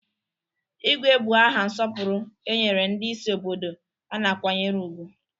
Igwe bụ aha nsọpụrụ e nyere ndị isi obodo a na-akwanyere ùgwù.